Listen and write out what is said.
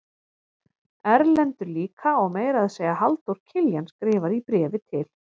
Erlendur líka og meira að segja Halldór Kiljan skrifar í bréfi til